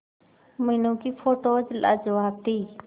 मीनू की फोटोज लाजवाब थी